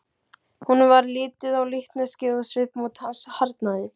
Honum varð litið á líkneskið og svipmót hans harðnaði.